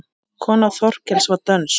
Kona Þorkels var dönsk.